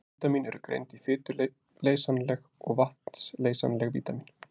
Vítamín eru greind í fituleysanleg og vatnsleysanleg vítamín.